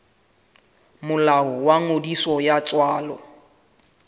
molao wa ngodiso ya tswalo